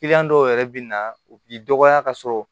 dɔw yɛrɛ bɛ na u b'i dɔgɔya ka sɔrɔ